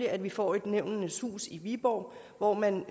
at vi får et nævnenes hus i viborg hvor man